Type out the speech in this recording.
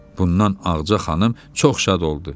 Bundan Ağca xanım çox şad oldu.